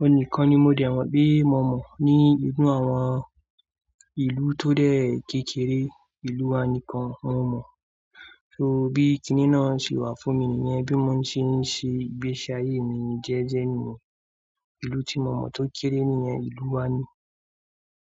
Òun nìkan ni mo dẹ̀ mọ̀ bí mo mọ̀ ní inú àwọn ìlú tó dẹ̀ kékeré. Ìlú wa nìkan mo mọ̀. Torí bí kiní náà ṣe wà fún mi nìyẹn. Bí mo ṣe ń ṣe ìgbésí ayé mi jẹ́ẹ́jẹ́ nìyẹn. Ìlú tí mo mọ̀ tó kéré nìyẹn, ìlú wa ni.